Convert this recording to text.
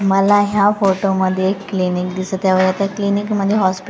मला ह्या फोटोमध्ये एक क्लिनिंक दिसतं आहे व त्या क्लिनिकमध्ये हॉस्पि --